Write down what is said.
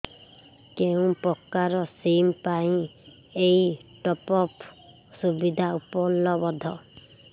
କେଉଁ ପ୍ରକାର ସିମ୍ ପାଇଁ ଏଇ ଟପ୍ଅପ୍ ସୁବିଧା ଉପଲବ୍ଧ